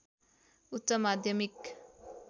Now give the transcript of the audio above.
उच्च माध्यमिक